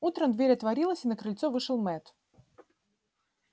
утром дверь отворилась и на крыльцо вышел мэтт